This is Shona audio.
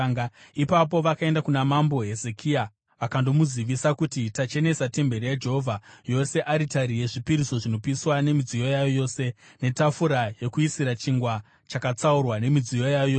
Ipapo vakaenda kuna mambo Hezekia vakandomuzivisa kuti: “Tachenesa temberi yaJehovha yose, aritari yezvipiriso zvinopiswa nemidziyo yayo yose, netafura yekuisira chingwa chakatsaurwa, nemidziyo yayo yose.